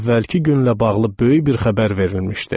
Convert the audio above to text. Əvvəlki günlə bağlı böyük bir xəbər verilmişdi.